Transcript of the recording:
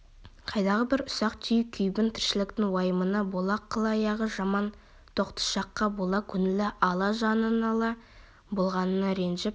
қайдағы бір ұсақ-түйек күйбің тіршіліктің уайымына бола қыл аяғы жаман тоқтышаққа бола көңілі ала жаны нала болғанына ренжіп